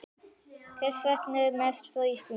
Hvers saknarðu mest frá Íslandi?